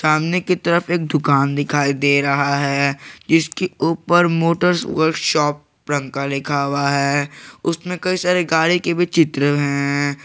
सामने की तरफ एक दुकान दिखाई दे रहा है जिसके ऊपर मोटर्स वर्कशॉप रंका लिखा हुआ है उसमें कई सारी गाड़ी की भी चित्र है।